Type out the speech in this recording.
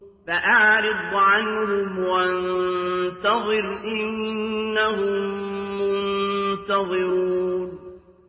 فَأَعْرِضْ عَنْهُمْ وَانتَظِرْ إِنَّهُم مُّنتَظِرُونَ